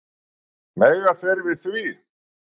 Mega þeir við því?